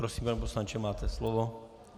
Prosím, pane poslanče, máte slovo.